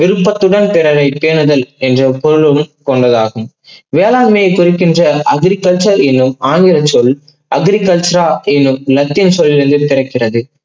விருப்பத்துடன் பிறவை பேணுதல் என்று எப்பொழுதும் கொண்டதாகும். வேளாண்மை குறிக்கின்ற agriculture என்கிண்ர ஆங்கில சொல் agricultura என்னும் லட்டின் சொல்லிளுருந்து பிறக்கிறது.